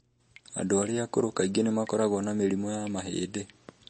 Andũ arĩa akũrũ kaingĩ nĩ makoragwo na mĩrimũ ya mahĩndĩ.